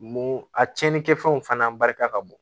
Mun a cɛnni kɛfɛnw fana barika ka bon